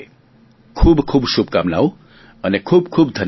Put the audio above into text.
ખૂબ ખૂબ શુભકામનાઓ અને ખૂબ ખૂબ ધન્યવાદ